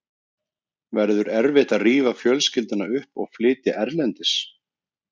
Verður erfitt að rífa fjölskylduna upp og flytja erlendis?